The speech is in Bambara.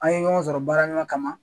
An ye ɲɔgɔn sɔrɔ baara ɲɔgɔnya kama.